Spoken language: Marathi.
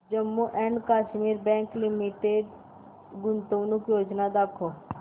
Jammu and Kashmir bank limited गुंतवणूक योजना दाखव